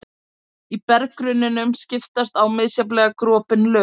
Í berggrunninum skiptast á misjafnlega gropin lög.